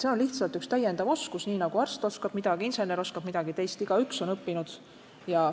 See on lihtsalt üks täiendav oskus – nii nagu arst oskab midagi, insener oskab midagi, teist igaüks on midagi õppinud.